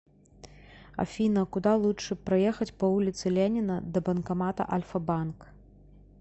афина куда лучше проехать по улице ленина до банкомата альфа банк